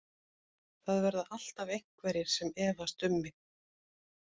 Það verða alltaf einhverjir sem efast um mig.